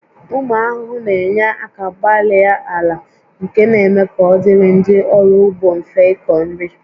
Ụmụ ahụhụ na-enye aka gbarie ala nke na-eme ka ọ dịrị ndị ọrụ ugbo mfe ịkọ nri